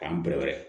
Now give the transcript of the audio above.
K'an bɛre